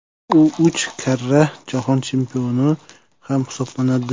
U uch karra jahon chempioni ham hisoblanadi.